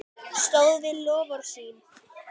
Stóð við loforð sín.